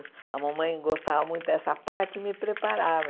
A mamãe gostava muito dessa parte e me preparava.